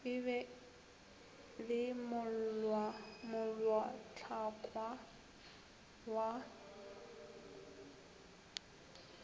e be le molaotlhakwa wa